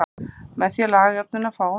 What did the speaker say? Með því að laga jöfnuna til fáum við: